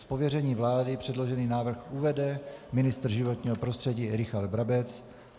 Z pověření vlády předložený návrh uvede ministr životního prostředí Richard Brabec.